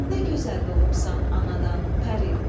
Nə gözəl doğubsan anadan pəri.